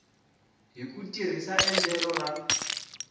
hi ku tirhisa endlelo ra